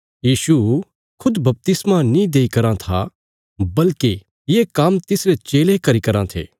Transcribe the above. यीशु खुद बपतिस्मा नीं देई करां था बल्कि ये काम्म तिसरे चेले करी रां थे